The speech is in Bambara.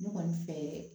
Ne kɔni fɛ